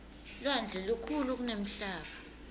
lwandle lukhulu kunemhlaba